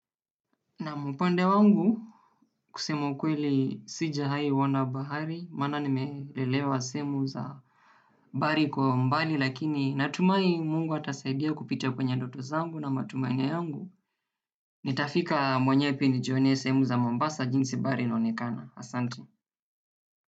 Na upande wangu kusema ukweli sijawai ona bahari, maana nimelelewa semu za bahari kwa umbali lakini natumaini Mungu atasaidia kupitia kwenye ndoto zangu na matumaini yangu, nitafika mwenyewenijionee sehemu za Mombasa jinsi bahari inaonekana, asante.